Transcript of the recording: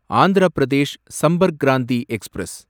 Andhra Pradesh Sampark Kranti express